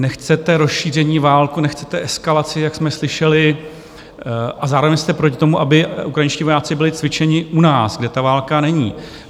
Nechcete rozšíření války, nechcete eskalaci, jak jsme slyšeli, a zároveň jste proti tomu, aby ukrajinští vojáci byli cvičeni u nás, kde ta válka není.